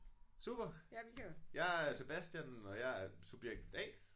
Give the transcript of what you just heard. Super jeg er Sebastian og jeg er subjekt A